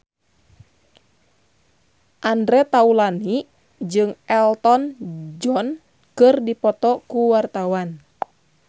Andre Taulany jeung Elton John keur dipoto ku wartawan